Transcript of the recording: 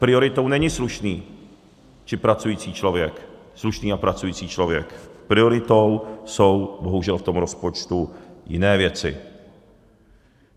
Prioritou není slušný či pracující člověk, slušný a pracující člověk, prioritou jsou bohužel v tom rozpočtu jiné věci.